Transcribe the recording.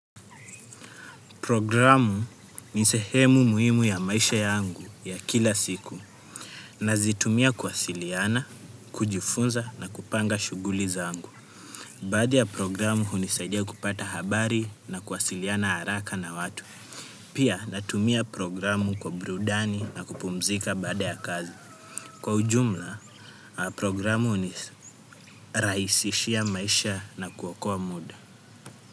Programu ni sehemu muhimu ya maisha yangu ya kila siku. Nazitumia kuwasiliana, kujifunza na kupanga shuguli zangu. Baadhi ya programu hunisaidia kupata habari na kwasiliana haraka na watu. Pia natumia programu kwa brudani na kupumzika baada ya kazi. Kwa ujumla, programu hunirahisishia maisha na kuokoa muda.